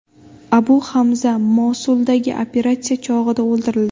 Abu Hamza Mosuldagi operatsiya chog‘ida o‘ldirildi.